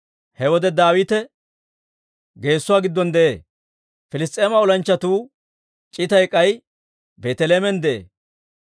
He wode Daawite geesuwaa giddon de'ee; Piliss's'eema olanchchatuu c'itay k'ay Beeteleheemen de'ee.